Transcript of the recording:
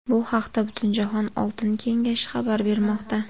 Bu haqda Butunjahon oltin kengashi xabar bermoqda .